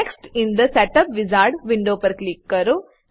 next in the setup wizard window પર click કરો